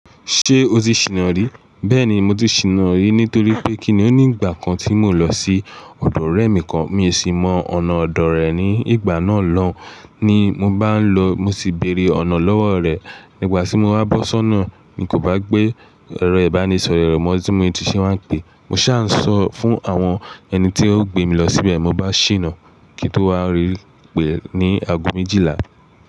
Ṣé o ti ṣìná rí? Bẹ́ẹ̀ni, mo ti ṣìná rí nítorí pé kíni ó ní ìgbà kan tí mò lọ sí ọ̀dọ̀ ọ̀rẹ́ mi kan, mi ò sì mọ ọ̀nà ọ̀dọ̀ rẹ̀ ní ìgbà náà lọ́, ní mo bá ń lọ mo sì béèrè ọ̀nà lọ́wọ́ rẹ̀. Nígbà tí mo á bọ́ sọ́nà ni kò bá gbé ẹrọ ìbánisọ̀rọ̀ rẹ̀ mọ́ tí mo ti ṣe wá pé mo ṣá ń sọ fún àwọn ẹni tí ó gbé mi lọ síbẹ̀ mo bá ṣìná kí n tó wá rí pé ní ago méjìlá.